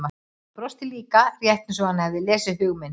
Hann brosti líka, rétt eins og hann hefði lesið hug okkar.